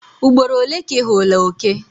Ugboro ole ka ị hụla oke?